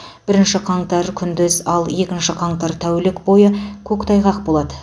бірінші қаңтар күндіз ал екінші қаңтар тәулік бойы көктайғақ болады